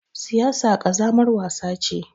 Siyasa ƙazamar wasa ce.